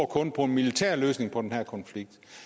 kun på en militær løsning på den her konflikt